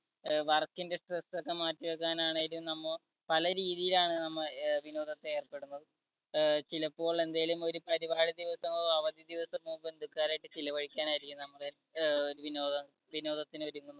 work ന്‍ടെ stress ഒക്കെ മാറ്റിവയ്ക്കാൻ ആണെങ്കിലും നമ്മ പല രീതിയിലാണ് നമ്മൾ വിനോദത്തെ ഏർപ്പെടുന്നത്. ചിലപ്പോൾ എന്തേലും ഒരു പരിപാടി ദിവസവും അവധി ദിവസമോ ബന്ധുക്കാര്യയിട്ട് ചെലവഴിക്കാൻ ആയിരിക്കും നമ്മടെ അഹ് വിനോദ വിനോദത്തിന് ഒരുങ്ങുന്നത്